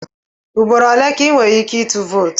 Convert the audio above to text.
Ugboro ole ka ị nwere ike ịtụ vootu?